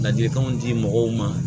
Ladilikanw di mɔgɔw ma